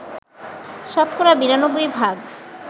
শতকরা ৯২ ভাগ